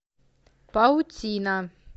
паутина